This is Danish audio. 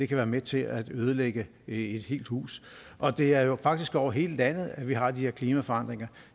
kan være med til at ødelægge et helt hus og det er jo faktisk over hele landet at vi har de her klimaforandringer